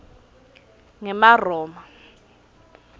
ngemaroma